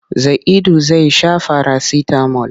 Zaidu zai sha farasitamol.